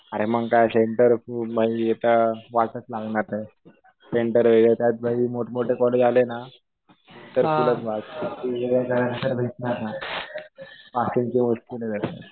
अरे मग काय सेंटर माझी आता वाटच लागणार. सेंटर वेगळं. त्यात भाई मोठमोठे पोरं आले ना तर त्यांच्या कडून काय अन्सर भेटणार नाही. पासिंगच्या वर पण नाही जायचं